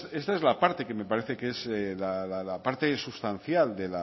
esta es la parte que me parece que es la parte sustancial